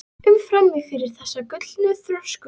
um frammi fyrir þeirra gullna þröskuldi.